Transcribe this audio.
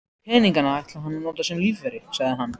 Peningana ætlaði hann að nota sem lífeyri, sagði hann.